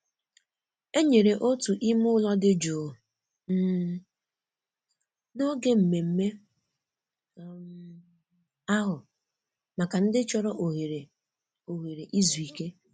E nyere otu ime ụlọ dị jụụ um n'oge mmemme um ahu maka ndị chọrọ ohere ohere izuike.